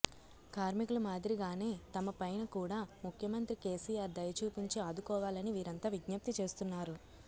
కార్మికుల మాదిరిగానే తమపైన కూడా ముఖ్యమంత్రి కేసీఆర్ దయ చూపించి ఆదుకోవాలని వీరంతా విజ్ఞప్తి చేస్తున్నారు